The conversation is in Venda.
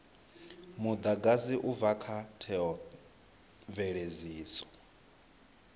mudagasi u bva kha theomveledziso